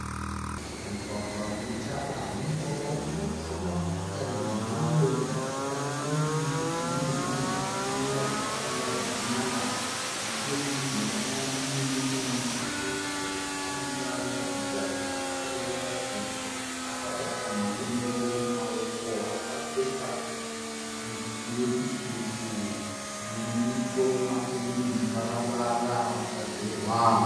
Mugwagwa une tara, mumugwagwa umu murikufamba motokari dzakawanda dzemhando dzakasiyana uye mumucheto mune dzimwe dzakamira dzakarongwa zvakanaka. Nechemujinga mawo mune murume arikuratidza kuti akaremara sezvo arikufamba akabata madondoro akapfeka wekisutu nemusoro wake mune muparavara wakagerwa